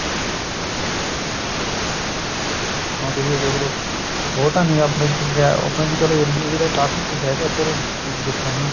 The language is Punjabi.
ਹੁਣ ਤੁਸੀਂ ਇਹ ਦੇਖਲੋ ਬਹੁਤਾ ਨਹੀਂ ਆਪਣੇ ਕਿਆ ਆਪਣੇ area ਜਿਹੜੇ ਕਾਫੀ ਕੁੱਝ ਹੈਗਾ ਇੱਧਰ ਦੇਖਣ ਨੂੰ